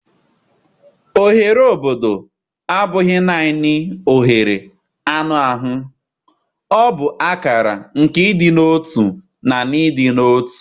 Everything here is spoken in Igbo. Oghere obodo abụghị naanị oghere anụ ahụ, ọ bụ akara nke ịdị n'otu na ịdị n'otu.